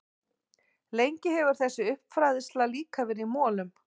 Lengi hefur þessi uppfræðsla líka verið í molum.